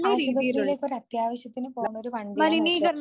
ആശുപത്രിയിലേക്ക് ഒരത്യാവശ്യത്തിനു പോണൊരു വണ്ടി ആന്ന് വെച്ചോ